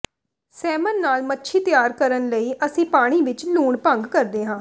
ਸੈਮਨ ਨਾਲ ਮੱਛੀ ਤਿਆਰ ਕਰਨ ਲਈ ਅਸੀਂ ਪਾਣੀ ਵਿਚ ਲੂਣ ਭੰਗ ਕਰਦੇ ਹਾਂ